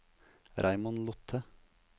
Raymond Lothe